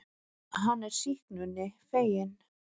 Hann er sýknunni feginn.